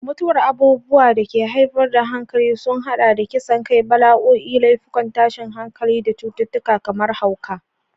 Mutuwar abubuwan da ke haifar da hankali sun haɗa da kisan kai, bala'o'i, laifukan tashin hankali, da cututtuka kamar hauka.